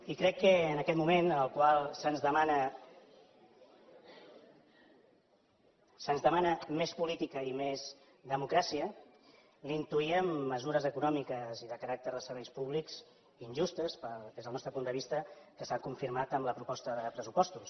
i crec que en aquest moment en el qual se’ns demana més política i més democràcia li intuíem mesures econòmiques i de caràcter de serveis públics injustes des del nostre punt de vista que s’han confirmat amb la proposta de pressupostos